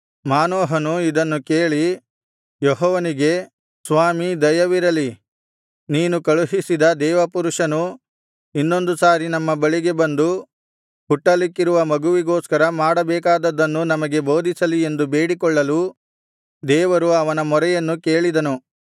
ಮಾನೋಹನು ಇದನ್ನು ಕೇಳಿ ಯೆಹೋವನಿಗೆ ಸ್ವಾಮೀ ದಯವಿರಲಿ ನೀನು ಕಳುಹಿಸಿದ ದೇವಪುರುಷನು ಇನ್ನೊಂದು ಸಾರಿ ನಮ್ಮ ಬಳಿಗೆ ಬಂದು ಹುಟ್ಟಲಿಕ್ಕಿರುವ ಮಗುವಿಗೋಸ್ಕರ ಮಾಡಬೇಕಾದದ್ದನ್ನು ನಮಗೆ ಬೋಧಿಸಲಿ ಎಂದು ಬೇಡಿಕೊಳ್ಳಲು ದೇವರು ಅವನ ಮೊರೆಯನ್ನು ಕೇಳಿದನು